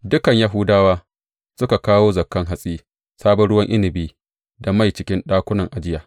Dukan Yahuda suka kawo zakan hatsi, sabon ruwan inabi da mai cikin ɗakunan ajiya.